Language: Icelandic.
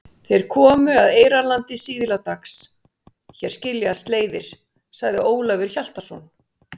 Þeir komu að Eyrarlandi síðla dags.-Hér skiljast leiðir, sagði Ólafur Hjaltason.